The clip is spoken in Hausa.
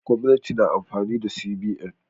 Gwamnati na amfani da CBN.